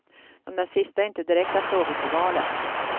De där sista är inte direkta frågor för valet.